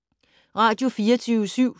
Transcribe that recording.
Radio24syv